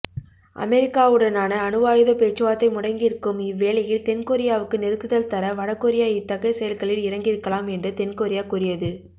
அமெரிக்காவுடனான அணுவாயுதப் பேச்சுவார்த்தை முடங்கியிருக்கும் இவ்வேளையில் தென்கொரியாவுக்கு நெருக்குதல் தர வடகொரியா இத்தகைய செயல்களில் இறங்கியிருக்கலாம் என்று தென்கொரியா கூறியது